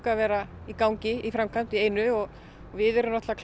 að vera í gangi í framkvæmd í einu og við erum náttúrulega